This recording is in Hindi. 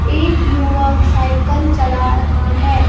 एक युवक साइकल चला रहा है.--